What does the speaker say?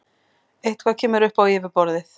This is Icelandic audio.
Eitthvað kemur upp á yfirborðið